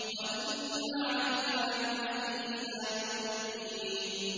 وَإِنَّ عَلَيْكَ لَعْنَتِي إِلَىٰ يَوْمِ الدِّينِ